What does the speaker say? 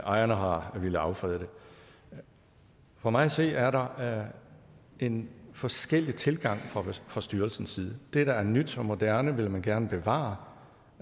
og ejerne har villet affrede den for mig at se er der en forskellig tilgang fra styrelsens side det der er nyt og moderne vil man gerne bevare